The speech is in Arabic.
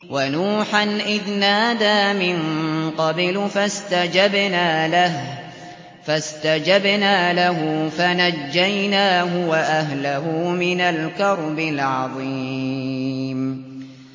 وَنُوحًا إِذْ نَادَىٰ مِن قَبْلُ فَاسْتَجَبْنَا لَهُ فَنَجَّيْنَاهُ وَأَهْلَهُ مِنَ الْكَرْبِ الْعَظِيمِ